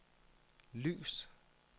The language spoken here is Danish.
lys